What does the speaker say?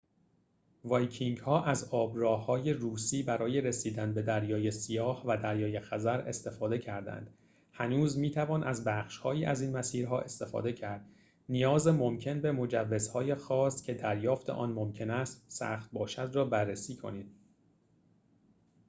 وایکینگ‌ها از آب‌راه‌های روسی برای رسیدن به دریای سیاه و دریای خزر استفاده کردند هنوز می‌توان از بخش‌هایی از این مسیرها استفاده کرد نیاز ممکن به مجوز‌های خاص که دریافت آن ممکن است سخت باشد را بررسی کنید